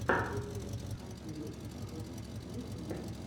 рецепт хайперикс ру в ютубе